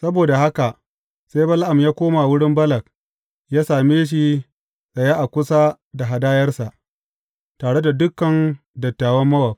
Saboda haka, sai Bala’am ya koma wurin Balak ya same shi tsaye a kusa da hadayarsa, tare da dukan dattawan Mowab.